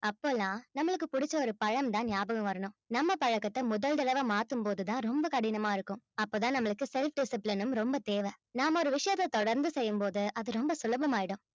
அப்பெல்லாம் நம்மளுக்கு பிடிச்ச ஒரு பழம்தான் ஞாபகம் வரணும் நம்ம பழக்கத்தை முதல் தடவை மாத்தும் போதுதான் ரொம்ப கடினமா இருக்கும் அப்பதான் நம்மளுக்கு self discipline உம் ரொம்ப தேவை நாம ஒரு விஷயத்த தொடர்ந்து செய்யும்போது அது ரொம்ப சுலபமாயிடும்